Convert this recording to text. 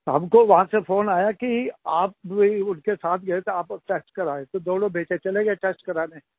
हमको वहां से फ़ोन आया कि आप भी उनके साथ गए थे आप भी टेस्ट करायें तो दोनों बेटे चले गये टेस्ट कराने